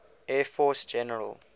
air force general